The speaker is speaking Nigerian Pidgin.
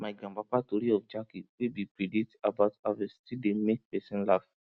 my grandpapa tori of jackey wey be predict about harvest still dey make person laff